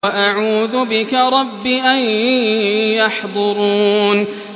وَأَعُوذُ بِكَ رَبِّ أَن يَحْضُرُونِ